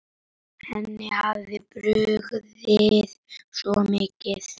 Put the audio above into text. Henni hafði brugðið svo mikið.